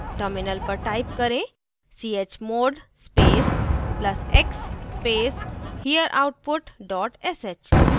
terminal पर type करें chmod space plus x space hereoutput dot sh